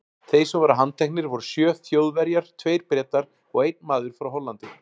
Þeir sem voru handteknir voru sjö Þjóðverjar, tveir Bretar og einn maður frá Hollandi.